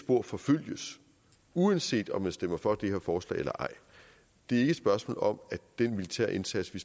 spor forfølges uanset om man stemmer for det her forslag eller ej det er ikke et spørgsmål om at den militære indsats vi